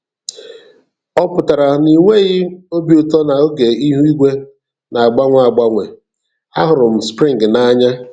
Ọ pụtara na inweghi obi ụtọ na oge ihu igwe na-agbanwe agbanwe - A hụrụ m Spring n'anya!